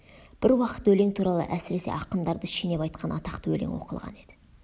бір уақыт өлең туралы әсіресе ақындарды шенеп айтқан атақты өлең оқылған еді